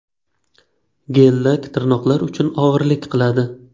Gel-lak tirnoqlar uchun og‘irlik qiladi.